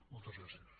moltes gràcies